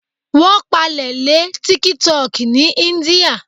Wón pàlè lé tíkítọki ní íńdíà